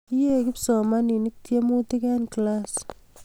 yie kipsomaninik tiemutik en klass